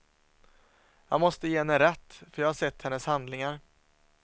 Jag måste ge henne rätt, för jag har sett hennes handlingar.